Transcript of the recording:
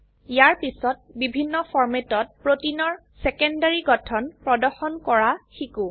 ইয়াৰ পিছত বিভিন্ন ফৰম্যাটত প্ৰোটিনৰ সেকেন্ডাৰী গঠন প্ৰদৰ্শন কৰা শিকো